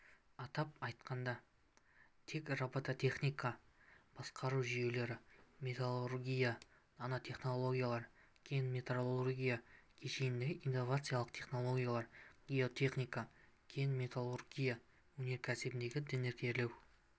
атап айтқанда тек робототехника басқару жүйелері металлургиядағы нанотехнологиялар кен-металлургия кешеніндегі инновациялық технологиялар геотехника кен-металлургия өнеркәсібіндегі дәнекерлеу